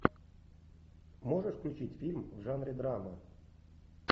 можешь включить фильм в жанре драма